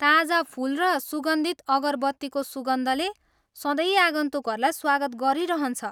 ताजा फुल र सुगन्धित अगरबत्तीको सुगन्धले सधैँ आगन्तुकहरूलाई स्वागत गरिरहन्छ।